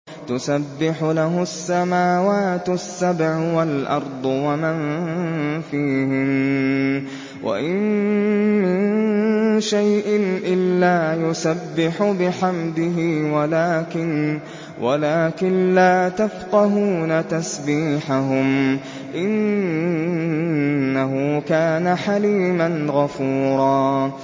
تُسَبِّحُ لَهُ السَّمَاوَاتُ السَّبْعُ وَالْأَرْضُ وَمَن فِيهِنَّ ۚ وَإِن مِّن شَيْءٍ إِلَّا يُسَبِّحُ بِحَمْدِهِ وَلَٰكِن لَّا تَفْقَهُونَ تَسْبِيحَهُمْ ۗ إِنَّهُ كَانَ حَلِيمًا غَفُورًا